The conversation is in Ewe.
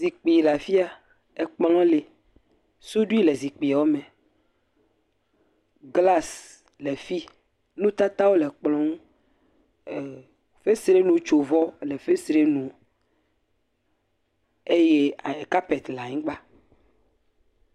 Zikpui le afia, kplɔ̃ li. Suɖui le zikpuiwo me, glasi le fi. Nutatawo le kplɔ̃ ŋu er fesrenutsovɔ le fesre nu eye ee kapeti le anyigba.